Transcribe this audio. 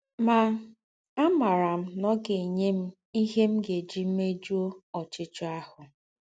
Mà, àmárà m̀ ná ọ́ gá-ènyè m ihe m̀ gá-èjí méjùọ́ ọ̀chíchíọ́ àhụ́. ”